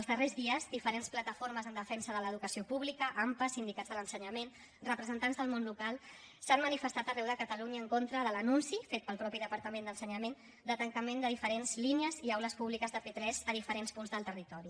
els darrers dies diferents plataformes en defensa de l’educació pública ampa sindicats de l’ensenyament representants del món local s’han manifestat arreu de catalunya en contra de l’anunci fet pel mateix departament d’ensenyament de tancament de diferents línies i aules públiques de p3 a diferents punts del territori